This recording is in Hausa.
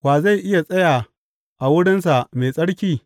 Wa zai iya tsaya a wurinsa mai tsarki?